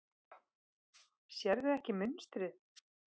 Sérðu ekki munstrið?